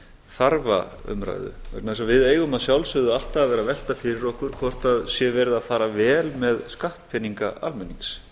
þarfa umræðu vegna þess að við eigum að sjálfsögðu alltaf að vera að velta fyrir okkur hvort það sé verið að fara vel með skattpeninga almennings